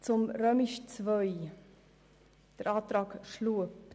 Zum Antrag der GSoK-Minderheit II/Schlup.